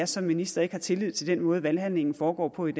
som minister ikke har tillid til den måde valghandlingen foregår på i